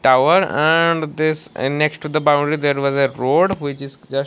tower and this and next to the boundary there was a road which is just --